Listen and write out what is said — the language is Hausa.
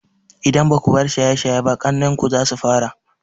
Idan baku bar shaye shaye ba, ƙannen ku ma zasu fara.